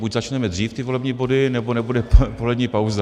Buď začneme dřív ty volební body, nebo nebude polední pauza.